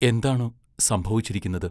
എന്താണു സംഭവിച്ചിരിക്കുന്നത്?